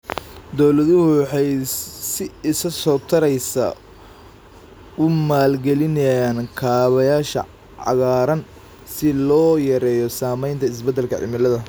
Dawladuhu waxay si isa soo taraysa u maalgelinayaan kaabayaasha cagaaran si loo yareeyo saamaynta isbeddelka cimilada.